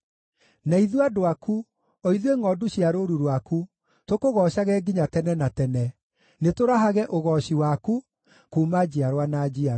Na ithuĩ andũ aku, o ithuĩ ngʼondu cia rũũru rwaku, tũkũgoocage nginya tene na tene; nĩtũrahage ũgooci waku, kuuma njiarwa na njiarwa.